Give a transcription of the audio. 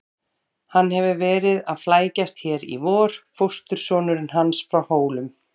Hann hefur verið að flækjast hér í vor, fóstursonurinn hans frá Hólum.